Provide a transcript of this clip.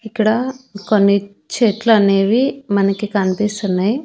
ఇక్కడ కొన్ని చెట్లనేవి మనకి కన్పిస్తున్నయ్.